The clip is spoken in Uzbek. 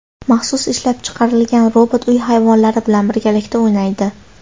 Maxsus ishlab chiqarilgan robot uy hayvonlari bilan birgalikda o‘ynaydi.